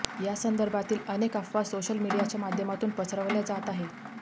या संदर्भातील अनेक अफवा सोशल मीडियाच्या माध्यमातून पसरवल्या जात आहेत